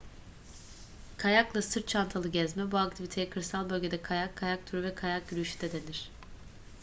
kayakla sırt çantalı gezme bu aktiviteye kırsal bölgede kayak kayak turu veya kayak yürüyüşü de denir